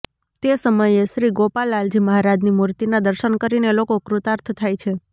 તે સમયે શ્રી ગોપાલ લાલજી મહારાજની મુર્તિનાં દર્શન કરીને લોકો કૃતાર્થ થાય છે